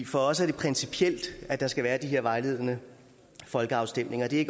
for os er det principielt at der skal være de her vejledende folkeafstemninger det er